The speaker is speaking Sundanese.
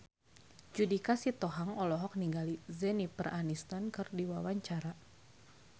Judika Sitohang olohok ningali Jennifer Aniston keur diwawancara